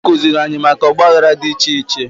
Ekuziri anyị maka Ọgba aghara dị iche iche